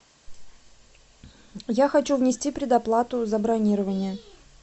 я хочу внести предоплату за бронирование